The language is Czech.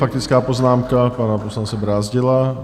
Faktická poznámka pana poslance Brázdila.